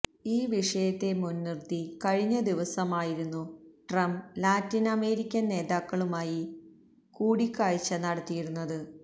ഈ വിഷയത്തെ മുൻനിർത്തി കഴിഞ്ഞ ദിവസമായിരുന്നു ട്രംപ് ലാറ്റിൻ അമേരിക്കൻ നേതാക്കന്മാരുമായി കൂടിക്കാഴ്ച നടത്തിയിരുന്നത്